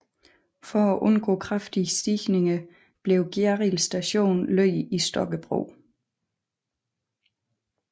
For at undgå for kraftige stigninger blev Gjerrild Station lagt i Stokkebro